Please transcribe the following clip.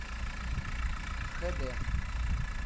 хд